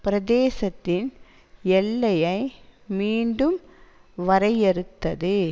பிரதேசத்தின் எல்லையை மீண்டும் வரையறுத்தது